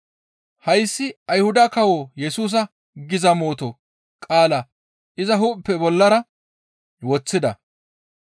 «Hayssi Ayhuda kawo Yesusa» giza mooto qaala iza hu7eppe bollara woththida.